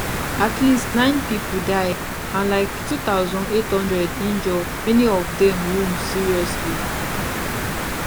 at least nine pipo die and like 2800 injure many of dem wound seriously